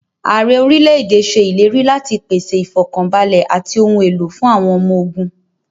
Ààrẹ orílẹ̀ èdè ṣe ìlérí láti pèsè ifọkanbalẹ àti ohun èlò fún àwọn ọmọ ogún.